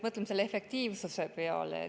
Mõtleme selle efektiivsuse peale.